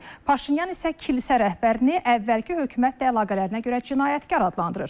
Paşinyan isə kilsə rəhbərini əvvəlki hökumətlə əlaqələrinə görə cinayətkar adlandırır.